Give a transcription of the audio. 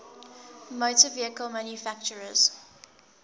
motor vehicle manufacturers